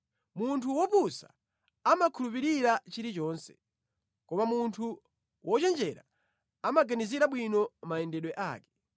Munthu wopusa amakhulupirira chilichonse, koma munthu wochenjera amaganizira bwino mayendedwe ake.